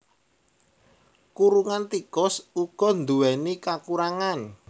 Kurungan tikus uga nduwèni kakurangan